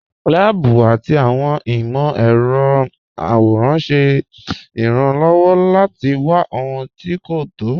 Láàbù àti awọn imọ̀-ẹrọ̀ àwòràn ṣẹ́ ìràn-lọ́wọ́ láti wà ọhun tí́ kò tọ́.